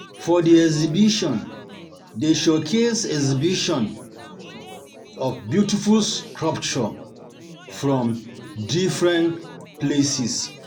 For di exhibition, dem showcase exhibition, dem showcase beautiful sculpture from differen place.